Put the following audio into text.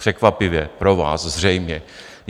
Překvapivě pro vás zřejmě.